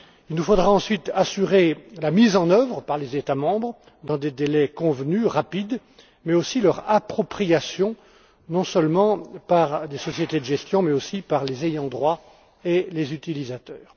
Nous devrons ensuite assurer la mise en œuvre de ce texte par les États membres dans des délais convenus rapides, mais aussi son appropriation non seulement par les sociétés de gestion mais aussi par les ayants droit et les utilisateurs.